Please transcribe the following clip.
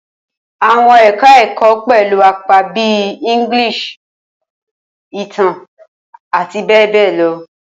Awọn eka-èkó pẹlu apa bi English, Itan ati be be lo